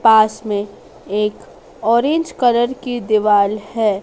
पास मे एक orange colour के दीवाल है।